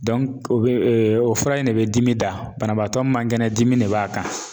o bɛ o fura in de bɛ dimi da banabaatɔ min man kɛnɛ dimi de b'a kan